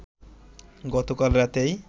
গতকাল রাতেই